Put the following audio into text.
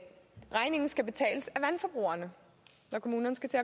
regningen skal betales af vandforbrugerne når kommunerne skal til